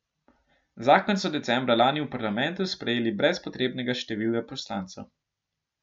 Zakon so decembra lani v parlamentu sprejeli brez potrebnega števila poslancev.